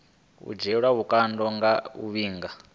dzhielwa vhukando nge a vhiga